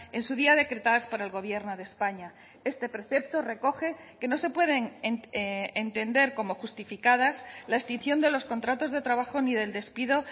en su día decretadas por el gobierno de españa este precepto recoge que no se pueden entender como justificadas la extinción de los contratos de trabajo ni del despido